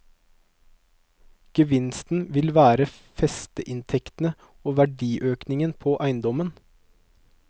Gevinsten ville være festeinntektene og verdiøkningen på eiendommen.